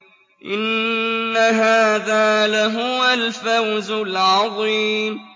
إِنَّ هَٰذَا لَهُوَ الْفَوْزُ الْعَظِيمُ